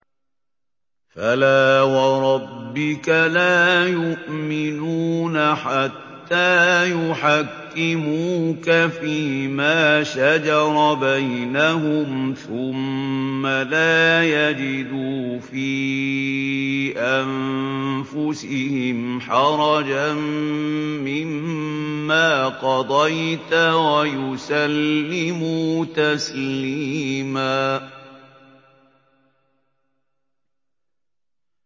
فَلَا وَرَبِّكَ لَا يُؤْمِنُونَ حَتَّىٰ يُحَكِّمُوكَ فِيمَا شَجَرَ بَيْنَهُمْ ثُمَّ لَا يَجِدُوا فِي أَنفُسِهِمْ حَرَجًا مِّمَّا قَضَيْتَ وَيُسَلِّمُوا تَسْلِيمًا